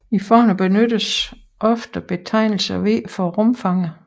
I formler benyttes ofte betegnelsen V for rumfanget